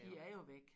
De er jo væk